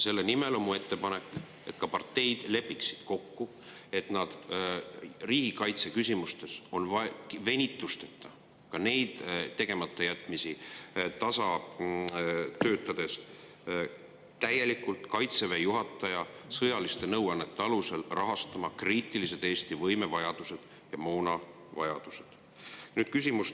Selle nimel on mul ettepanek, et ka parteid lepiksid kokku, et riigikaitseküsimustes on vaja venitusteta neid tegematajätmisi tasa teha, täielikult Kaitseväe juhataja sõjaliste nõuannete alusel, rahastades Eesti kriitilisi võime‑ ja moonavajadusi.